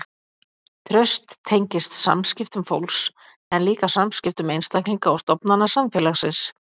Traust tengist samskiptum fólks en líka samskiptum einstaklinga og stofnana samfélagsins.